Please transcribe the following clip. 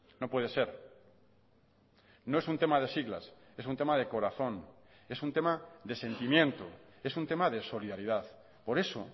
no puede ser no es un tema de siglas es un tema de corazón es un tema de sentimiento es un tema de solidaridad por eso